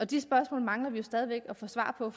de spørgsmål mangler vi stadig at få svar på